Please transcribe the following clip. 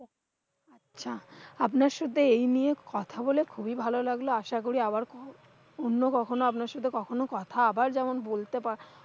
আচ্ছা, আপনার সাথে এইনিয়ে কথা বলে খুবই ভালো লাগলো। আশা করি আবার অন্যকখনো আপনার সাথে কখনো কথা আবার যেমন বলতে পারব।